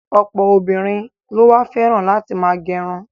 Ọ̀pọ̀ obìnrin ló wá fẹ́ràn láti ma gẹrun.